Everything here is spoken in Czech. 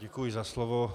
Děkuji za slovo.